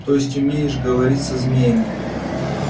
то есть умеешь говорить со змеями